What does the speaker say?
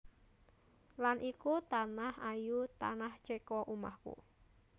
Lan iku tanah ayu Tanah Ceko omahku